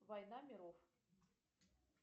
война миров